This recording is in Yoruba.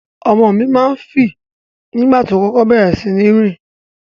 Ọmọ mi ma ń fì nígbà tó kókó bẹ̀rẹ̀ síní rìn.